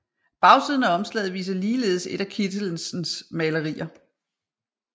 Bagsiden af omslaget viser ligeledes et af Kittelsens malerier